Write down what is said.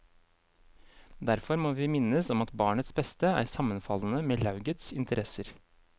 Derfor må vi minnes om at barnets beste er sammenfallende med laugets interesser.